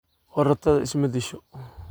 Korotadha ismadisho.